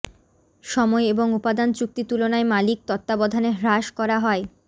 সময় এবং উপাদান চুক্তি তুলনায় মালিক তত্ত্বাবধানে হ্রাস করা হয়